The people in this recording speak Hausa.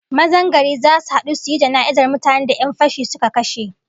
Mazan gari zasu hadu suyi jana'izar mutanen da 'yan fashi suka kashe